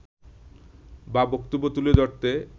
বা বক্তব্য তুলে ধরতে